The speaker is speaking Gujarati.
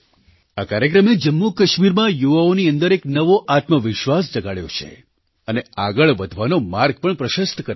આ કાર્યક્રમે જમ્મુકાશ્મીરમાં યુવાઓની અંદર એક નવો આત્મવિશ્વાસ જગાડ્યો છે અને આગળ વધવાનો માર્ગ પણ પ્રશસ્ત કર્યો છે